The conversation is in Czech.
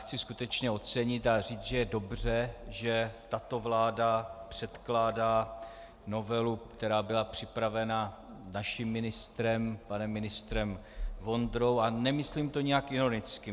Chci skutečně ocenit a říct, že je dobře, že tato vláda předkládá novelu, která byla připravena naším ministrem, panem ministrem Vondrou - a nemyslím to nijak ironicky.